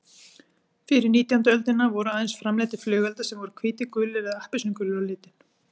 Fyrir nítjándu öldina voru aðeins framleiddir flugeldar sem voru hvítir, gulir eða appelsínugulir á litinn.